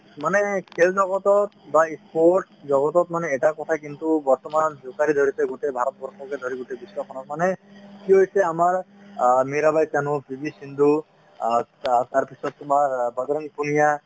মনে খেল জগতত বা sports জগতত মানে এটা কথা কিন্তু বৰ্তমান জোকাৰি ধৰিছে গোটেই ভাৰতবৰ্ষকে ধৰি গোটেই বিশ্ব খনক মানে কি হৈছে আমাৰ অ মিৰাবাই চানু , পি ভি সিন্ধু অ তাৰ পিছত তোমাৰ বজৰং পুনিয়া